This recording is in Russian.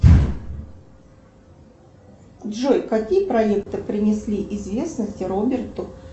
джой какие проекты принесли известности роберту